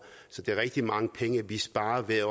så det er rigtig mange penge vi sparer ved at